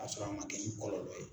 Ka sɔrɔ a man kɛ ni kɔlɔlɔ ye.